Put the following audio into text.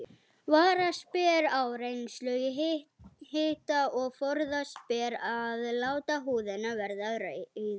Varast ber áreynslu í hita og forðast ber að láta húðina verða rauða.